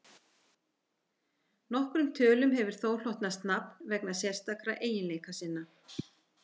Nokkrum tölum hefur þó hlotnast nafn vegna sérstakra eiginleika sinna.